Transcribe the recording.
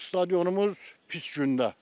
Stadionumuz pis gündə.